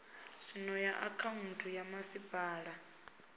zwino ya akhaunthu ya masipala